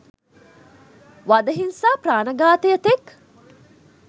වද හිංසා ප්‍රාණඝාතය තෙක්